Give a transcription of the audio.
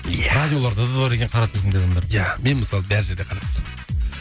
иә радиоларда да бар екен қара тізімдегі адамдар иә мен мысалы бар жерде қара тізімдемін